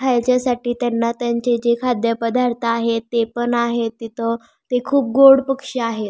खायच्यासाठी त्यांना त्यांचे जे खाद्यपदार्थ आहेत ते पण आहेत तिथ ते खूप गोड पक्षी आहेत.